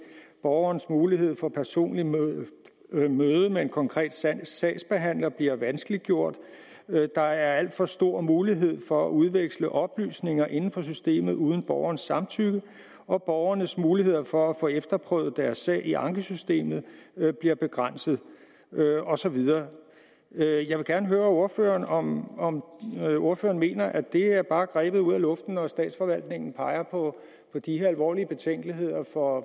borgernes mulighed for personligt møde med møde med en konkret sagsbehandler bliver vanskeliggjort der er alt for stor mulighed for at udveksle oplysninger inden for systemet uden borgernes samtykke og borgernes mulighed for at få efterprøvet deres sag i ankesystemet bliver begrænset og så videre jeg vil gerne høre ordføreren om om ordføreren mener at det her bare er grebet ud af luft når statsforvaltningerne peger på de her alvorlige betænkeligheder for